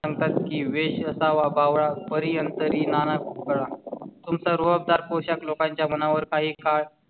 सांगतात कीं वेष असावा बावळा परी अंतरी नाना कळा तुमचा रोज चा पोशाख लोकांच्या मनावर काही काळ